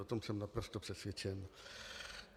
O tom jsem naprosto přesvědčen.